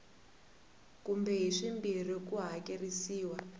kumbe hi swimbirhi ku hakerisiwa